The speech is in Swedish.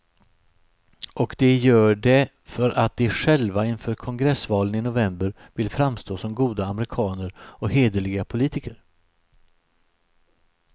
Och de gör det för att de själva inför kongressvalen i november vill framstå som goda amerikaner och hederliga politiker.